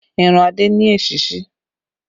Irun adé ni èsísí